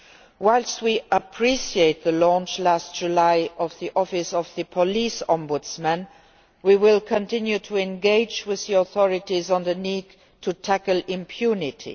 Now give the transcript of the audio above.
Whilst we appreciate the launch last July of the Office of the Police Ombudsman, we will continue to engage with the authorities on the need to tackle impunity.